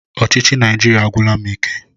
Ọchịchị Naijiria agwụla m ike.